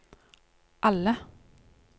alle